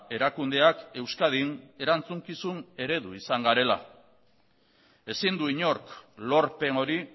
erakundeak euskadin erantzukizun eredu izan garela ezin du inork lorpen hori